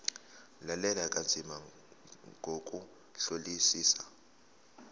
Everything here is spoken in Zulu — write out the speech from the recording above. lalela kanzima ngokuhlolisisa